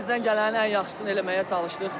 Əlimizdən gələnin ən yaxşısını eləməyə çalışdıq.